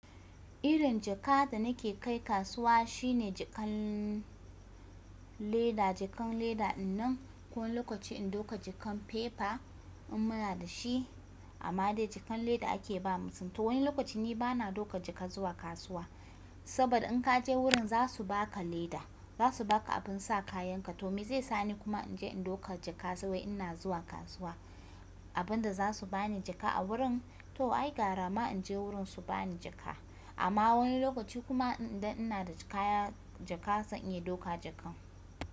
Irin jaka da nake kai kasuwa shine jakan leda, jakan leda dinnan ko wani lokaci in ɗoka jakan paper in muna dashi amma dai jakan leda ake ba mu. To wani lokaci ni bana ɗoka jaka zuwa kasuwa saboda in ka je wurin za su baka leda, za su baka abin sa kayan ka to me zai sani kuma in je in ɗoka jaka sai ina zuwa kasuwa abin da za su bani jaka a wurin? To ai gara ma in je wurin su bani jaka amma wani lokaci kuma idan ina da kaya jaka zan iya ɗoka jaka.